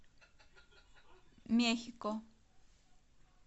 мехико